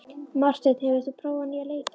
Marteinn, hefur þú prófað nýja leikinn?